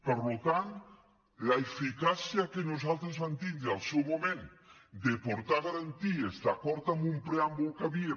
per tant l’eficàcia que nosaltres vam tindre en el seu moment de portar a garanties d’acord amb un preàmbul en què hi havia